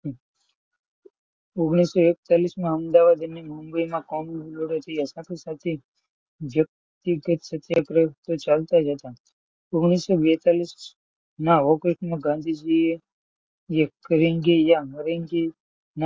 ઓગણીસો એકતાલીસ માં અમદાવાદની, મુંબઈમાં વ્યક્તિગત સત્યાગ્રહ ચાલતા જ હતા ઓગણીસો બેતાળીસ માં ગાંધીજીએ કરેંગે આ મરેંગે,